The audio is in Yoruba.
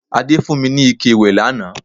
Adé fún mi ní ike ìwẹ̀ lánàá